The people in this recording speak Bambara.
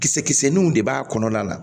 Kisɛ kisɛninw de b'a kɔnɔna la